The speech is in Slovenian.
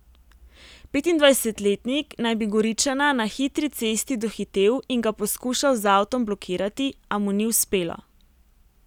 Petindvajsetletnik naj bi Goričana na hitri cesti dohitel in ga poskušal z avtom blokirati, a mu ni uspelo.